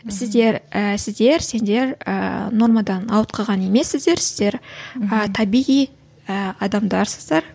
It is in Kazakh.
сіздер і сіздер сендер ііі нормадан ауытқыған емессіздер сіздер ііі табиғи ы адамдарсыздар